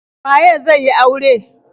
Waye zai yi aure.